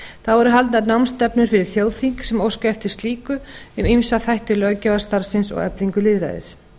þá eru halda námsstefnu fyrir þjóðþing sem óska eftir slíku um ýmsa þætti löggjafarstarfsins og eflingu lýðræðis